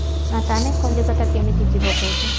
ଆଉ ତାହେଲେ କଲିକତା କେମିତି ଯିବ କହୁଛ?